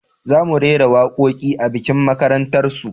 Za mu rera waƙoƙi a bikin makarantar su